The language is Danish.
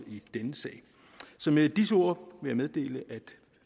i denne sag med disse ord vil jeg meddele at